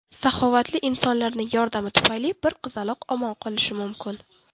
Saxovatli insonlarning yordami tufayli bir qizaloq omon qolishi mumkin.